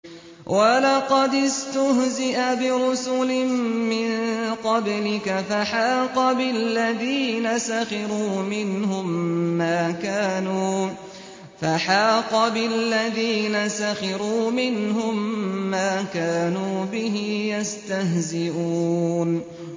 وَلَقَدِ اسْتُهْزِئَ بِرُسُلٍ مِّن قَبْلِكَ فَحَاقَ بِالَّذِينَ سَخِرُوا مِنْهُم مَّا كَانُوا بِهِ يَسْتَهْزِئُونَ